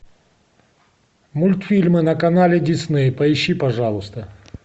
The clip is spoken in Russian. мультфильмы на канале дисней поищи пожалуйста